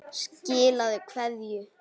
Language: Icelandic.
Skilaðu kveðju.